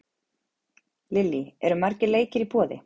Lillý, eru margir leikir í boði?